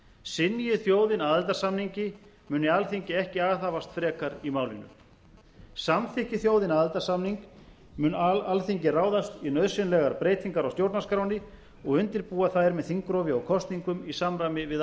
synji þjóðin aðildarsamningi muni alþingi ekki aðhafast frekar í málinu samþykki þjóðin aðildarsamning mun alþingi ráðast í nauðsynlegar breytingar á stjórnarskránni og undirbúa þær með þingrofi og kosningum í samræmi við